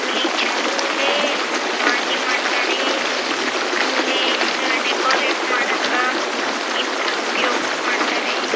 ಆಮೇಲೆ ಈ ಚೆಂಡು ಹೂವುಲೇ ಮಾಲೆ ಮಾಡ್ತಾರೆ ಆಮೇಲೆ ಡೆಕೋರಟ್ ಮಾಡೋಕೆ ಇದರ ಉಪಯೋಗ ಮಾಡ್ತಾರೆ.